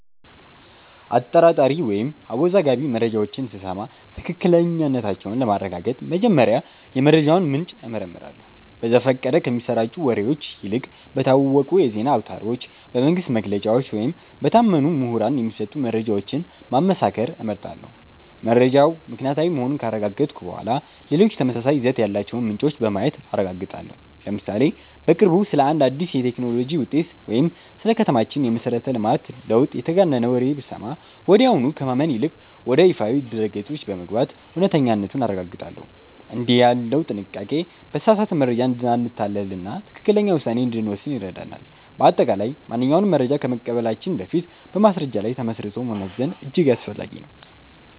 አጠራጣሪ ወይም አወዛጋቢ መረጃዎችን ስሰማ ትክክለኛነታቸውን ለማረጋገጥ መጀመሪያ የመረጃውን ምንጭ እመረምራለሁ። በዘፈቀደ ከሚሰራጩ ወሬዎች ይልቅ በታወቁ የዜና አውታሮች፣ በመንግሥት መግለጫዎች ወይም በታመኑ ምሁራን የሚሰጡ መረጃዎችን ማመሳከር እመርጣለሁ። መረጃው ምክንያታዊ መሆኑን ካረጋገጥኩ በኋላ፣ ሌሎች ተመሳሳይ ይዘት ያላቸውን ምንጮች በማየት አረጋግጣለሁ። ለምሳሌ፦ በቅርቡ ስለ አንድ አዲስ የቴክኖሎጂ ውጤት ወይም ስለ ከተማችን የመሠረተ ልማት ለውጥ የተጋነነ ወሬ ብሰማ፣ ወዲያውኑ ከማመን ይልቅ ወደ ይፋዊ ድረ-ገጾች በመግባት እውነተኛነቱን አረጋግጣለሁ። እንዲህ ያለው ጥንቃቄ በተሳሳተ መረጃ እንዳንታለልና ትክክለኛ ውሳኔ እንድንወስን ይረዳናል። በአጠቃላይ፣ ማንኛውንም መረጃ ከመቀበላችን በፊት በማስረጃ ላይ ተመስርቶ መመዘን እጅግ አስፈላጊ ነው።